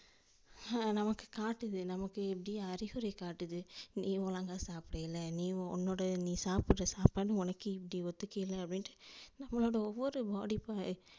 ஆஹ் நமக்கு காட்டுது நமக்கு எப்படி அறிகுறி காட்டுது நீ ஒழுங்கா சாப்டல நீ உன்னோட நீ சாப்புடுற சாப்பாடு உனக்கே இப்படி ஒத்துகைல அப்டினுட்டு நம்மோட ஒவ்வொரு body க்கு